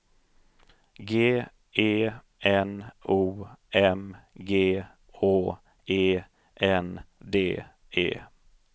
G E N O M G Å E N D E